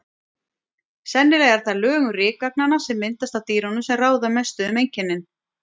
Sennilega er það lögun rykagnanna, sem myndast af dýrunum, sem ráða mestu um einkennin.